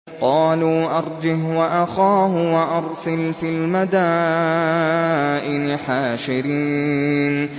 قَالُوا أَرْجِهْ وَأَخَاهُ وَأَرْسِلْ فِي الْمَدَائِنِ حَاشِرِينَ